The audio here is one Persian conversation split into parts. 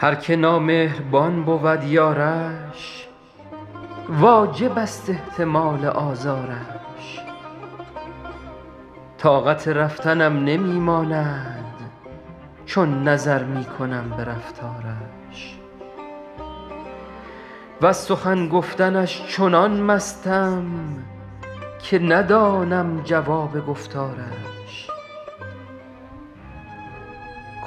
هر که نامهربان بود یارش واجب است احتمال آزارش طاقت رفتنم نمی ماند چون نظر می کنم به رفتارش وز سخن گفتنش چنان مستم که ندانم جواب گفتارش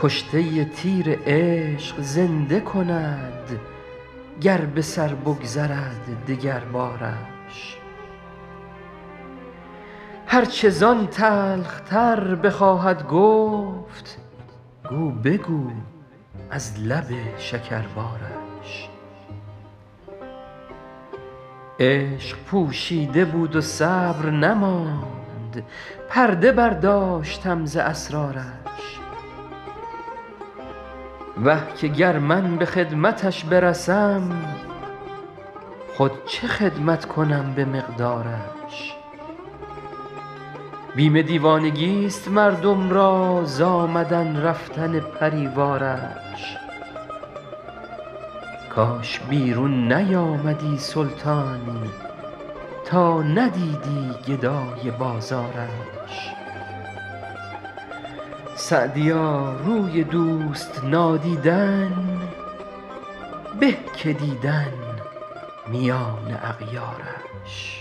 کشته تیر عشق زنده کند گر به سر بگذرد دگربارش هر چه زان تلخ تر بخواهد گفت گو بگو از لب شکربارش عشق پوشیده بود و صبر نماند پرده برداشتم ز اسرارش وه که گر من به خدمتش برسم خود چه خدمت کنم به مقدارش بیم دیوانگیست مردم را ز آمدن رفتن پری وارش کاش بیرون نیامدی سلطان تا ندیدی گدای بازارش سعدیا روی دوست نادیدن به که دیدن میان اغیارش